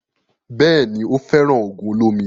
Bẹ́ẹ̀ni, ó fẹ́ràn ògùn olómi